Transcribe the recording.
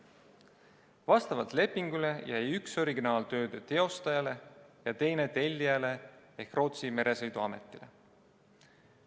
Vastavalt lepingule jäi üks originaal tööde tegijale ja teine tellijale ehk Rootsi meresõiduametile.